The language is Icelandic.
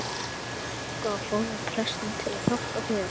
Flýttu þér þangað og fáðu prestinn til að hjálpa þér.